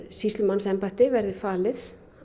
sýslumannsembætti verði falið